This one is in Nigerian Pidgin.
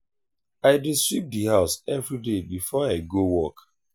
i dey sweep the house everyday before i go work.